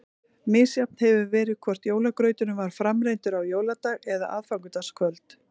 Misjafnt hefur verið hvort jólagrauturinn var framreiddur á jóladag eða aðfangadagskvöld.